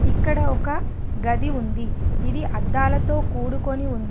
ఇక్కడ ఒక గది ఉంది ఇది అద్దాలతో కూడుకొని ఉన్--